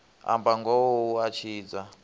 amba ngoho hu a tshidza